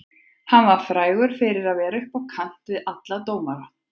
Hann var frægur fyrir að vera upp á kant við alla dómara.